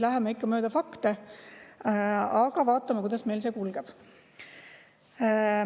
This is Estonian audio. Läheme ikka mööda fakte ja vaatame, kuidas meil see kulgeb.